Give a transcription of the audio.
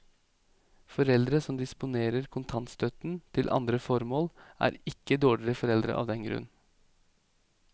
Foreldre som disponerer kontantstøtten til andre formål, er ikke dårlige foreldre av den grunn.